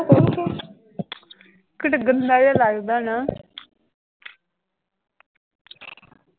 ਕਿੱਢਾ ਗੰਦਾ ਜਿਹਾ ਲੱਗਦਾ ਨਾ।